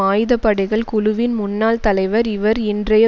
ஆயுத படைகள் குழுவின் முன்னாள் தலைவர் இவர் இன்றைய